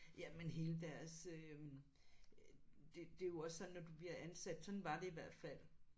Ja men hele deres øh det det er jo også sådan når du bliver ansat sådan var det i hvert fald